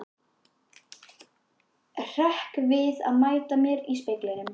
Hrekk við að mæta mér í speglinum.